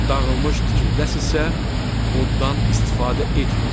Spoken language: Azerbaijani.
Dağılmış tikilidəsisə, oddan istifadə etməyin.